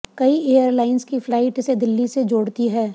कई एयरलाइंस की फ्लाइट इसे दिल्ली से जोड़ती हैं